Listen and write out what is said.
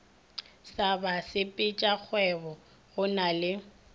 sa basepetšakgwebo go na le